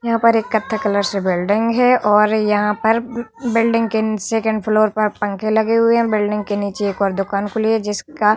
यहाँ पर एक कत्थई कलर से बिल्डिंग है और यहाँ पर बिल्डिंग के सेकंड फ्लोर पर पंखे लगे हुए है बिल्डिंग के नीचे एक और दुकान खुली हुई है जिसका-